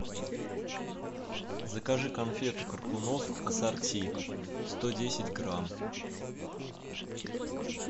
закажи конфеты коркунов ассорти сто десять грамм